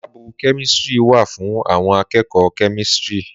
Làbú kẹmítìrí wà fún àwon àkẹkọ kẹmítìrí.